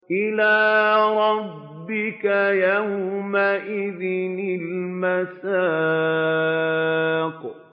إِلَىٰ رَبِّكَ يَوْمَئِذٍ الْمَسَاقُ